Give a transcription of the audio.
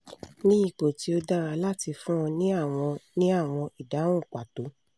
ni ipò to daara lati fun o ni àwọn àwọn ìdáhùn pato